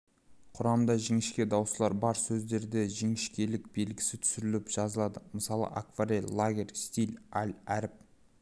құрамында жіңішке дауыстылар бар сөздерде жіңішкелік белгісі түсіріліп жазылады мысалы акварель лагерь стиль аль әріп